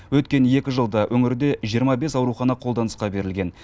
өткен екі жылда өңірде жиырма бес аурухана қолданысқа берілген